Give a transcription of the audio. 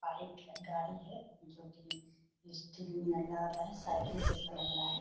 Bike है गाड़ी है जो कि स्टील नियन लग रहा है साइकिल जैसा लग रहा है।